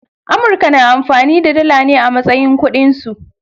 Amurka na amfani da dala ne a matsayin kudin su.